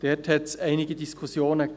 Hier gab es einige Diskussionen.